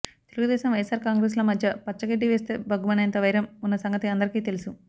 తెలుగుదేశం వైఎస్సార్ కాంగ్రెస్ ల మధ్య పచ్చగడ్డి వేస్తే భగ్గుమనేంత వైరం ఉన్న సంగతి అందరికీ తెలుసు